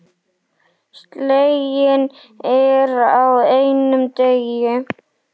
Sleginn er á einum degi.